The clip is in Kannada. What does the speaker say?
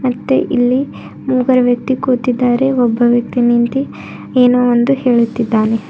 ಮತ್ತೆ ಇಲ್ಲಿ ಮೂಗರ ವ್ಯಕ್ತಿ ಕೂತಿದ್ದಾರೆ ಒಬ್ಬ ವ್ಯಕ್ತಿ ನಿಂತಿ ಏನೋ ಒಂದು ಹೇಳುತ್ತಿದ್ದಾನೆ.